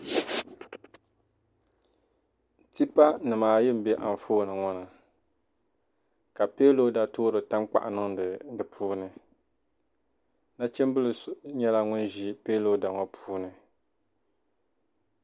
tipanima ayi m-be anfooni ŋɔ ni ka peelooda toori tankpaɣu niŋdi di puuni nachimbila so nyɛla ŋun ʒi peelooda ŋɔ puuni